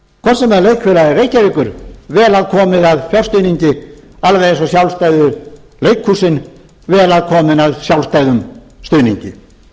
hvort sem það er leikfélag reykjavíkur vel að komið að fjárstuðningi alveg eins og sjálfstæðu leikhúsin vel að komin að sjálfstæðum stuðningi